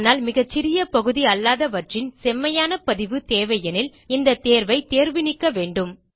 ஆனால் மிக சிறிய பகுதி அல்லாதவற்றின் செம்மையான பதிவு தேவையெனில் இந்த தேர்வை தேர்வு நீக்க வேண்டும்